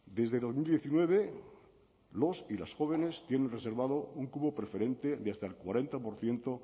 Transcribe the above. desde dos mil diecinueve los y las jóvenes tiene reservado un cupo preferente de hasta el cuarenta por ciento